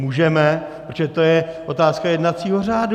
Můžeme, protože to je otázka jednacího řádu.